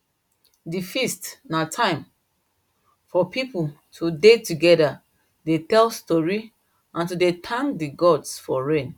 the feast na time for people to dey together dey tell story and to dey thank the gods for rain